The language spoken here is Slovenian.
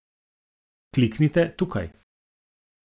Kliknite tukaj!